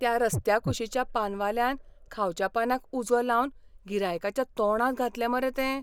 त्या रस्त्या कुशीच्या पानवाल्यान खावच्या पानाक उजो लावन गिरायकाच्या तोंडांत घातलें मरे तें!